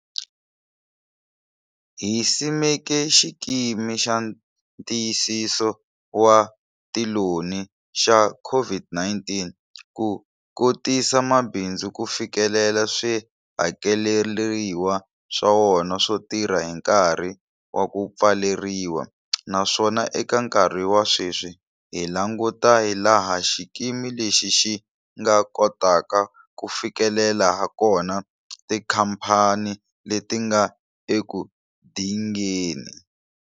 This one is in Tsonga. Hi simeke Xikimi xa Ntiyisiso wa Tiloni xa COVID-19 ku kotisa mabindzu ku fikelela swihakeleriwa swa wona swo tirha hi nkarhi wa ku pfaleriwa, naswona eka nkarhi wa sweswi hi languta hilaha xikimi lexi xi nga kotaka ku fikelela hakona tikhamphani leti nga eku dingeni.